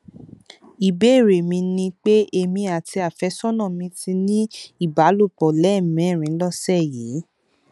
ìbéèrè mi ni pé èmi àti àfẹsọnà mi ti ní ìbálòpọ lẹẹmẹrin lọsẹ yìí